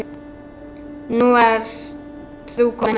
Nú ert þú komin heim.